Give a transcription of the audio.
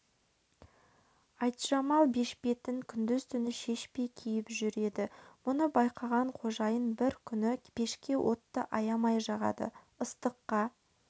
айтжамал бешпетін күндіз-түні шешпей киіп жүреді мұны байқаған қожайын бір күні пешке отты аямай жағады ыстыққа